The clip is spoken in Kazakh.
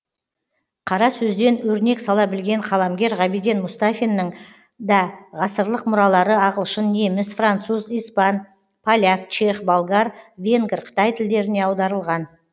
қара сөзден өрнек сала білген қаламгер ғабиден мұстафинның да ғасырлық мұралары ағылшын неміс француз испан поляк чех болгар венгр қытай тілдеріне аударылған